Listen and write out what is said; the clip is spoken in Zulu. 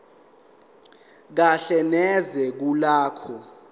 kahle neze kulokho